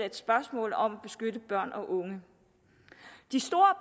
et spørgsmål om at beskytte børn og unge de store